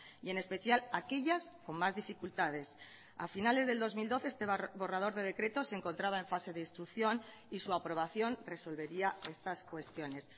y en especial aquellas con más dificultades a finales del dos mil doce este borrador de decreto se encontraba en fase de instrucción y su aprobación resolvería estas cuestiones